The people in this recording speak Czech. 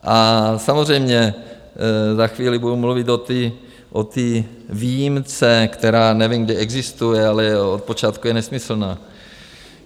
A samozřejmě za chvíli budu mluvit o té výjimce, která nevím, kdE existuje, ale od počátku je nesmyslná.